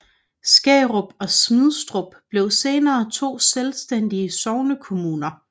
Skærup og Smidstrup blev senere to selvstændige sognekommuner